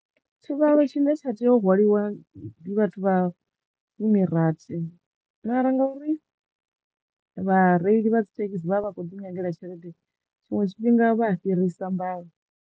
Tshivhalo tshine tsha teyo hwaliwa ndi vhathu vha fumi rathi mara nga uri vhareili vha dzi thekhisi vha vha kho ḓi nyagela tshelede tshiṅwe tshifhinga vha a fhirisa mbalo.